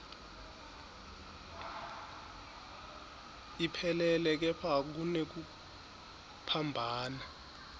iphelele kepha kunekuphambana